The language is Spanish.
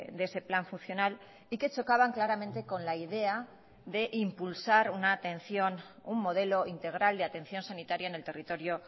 de ese plan funcional y que chocaban claramente con la idea de impulsar una atención un modelo integral de atención sanitaria en el territorio